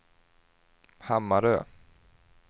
Hammarö